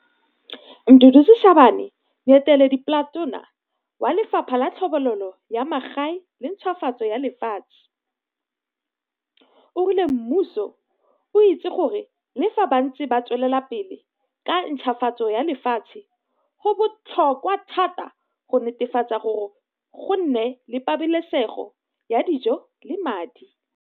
Mduduzi Shabane, Moeteledipletona wa Lefapha la Tlhobololo ya Magae le Ntšhwafatso ya Lefatshe, o rile mmuso o itse gore le fa ba ntse tswelela pele ka ntšhafatso ya lefatshe go botlhokwa thata go netefatsa gore go nne le pabalesego ya dijo le madi.